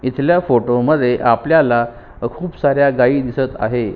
तिसऱ्या फोटो मध्ये आपल्याला खुप साऱ्या गाई दिसत आहे.